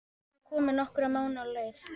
Hún var komin nokkra mánuði á leið.